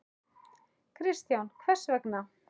Kristján: Hvers vegna?